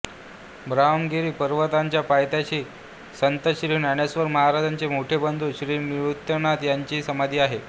ब्रह्मगिरी पर्वताच्या पायथ्याशी संत श्री ज्ञानेश्वर महाराजांचे मोठे बंधु श्री निवृत्तिनाथ यांची समाधि आहे